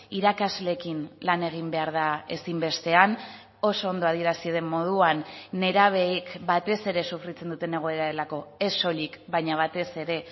irakasleekin lan egin behar da ezinbestean oso ondo adierazi den moduan nerabeek batez ere sufritzen duten egoera delako ez soilik baina batez ere